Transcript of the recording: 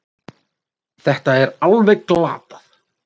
Þetta er alveg glatað